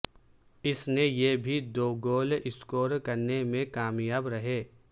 اس نے یہ بھی دو گول اسکور کرنے میں کامیاب رہے